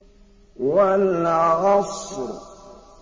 وَالْعَصْرِ